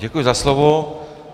Děkuji za slovo.